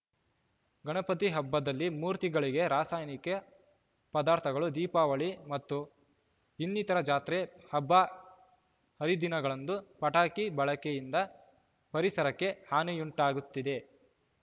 ಗಣಪತಿ ಹಬ್ಬದಲ್ಲಿ ಮೂರ್ತಿಗಳಿಗೆ ರಾಸಾಯನಿಕೆ ಪದಾರ್ಥಗಳು ದೀಪಾವಳಿ ಮತ್ತು ಇನ್ನಿತರ ಜಾತ್ರೆ ಹಬ್ಬ ಹರಿದಿನಗಳಂದು ಪಟಾಕಿ ಬಳಕೆಯಿಂದ ಪರಿಸರಕ್ಕೆ ಹಾನಿಯುಂಟಾಗುತ್ತಿದೆ